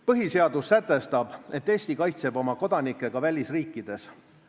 Põhiseadus sätestab, et Eesti kaitseb oma kodanikke ka välisriikides.